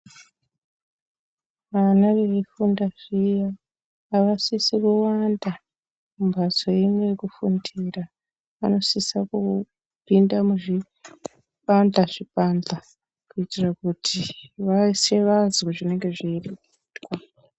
Vana veifunda zviya avasisi kuwanda mumbatso imwe yekufundira. Vanosisa kupinda muzvibandhla zvibandhla kuitire kuti veshe vazwe zvinenge zveireketwa.